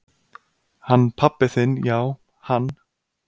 """Hann pabbi þinn já, hann."""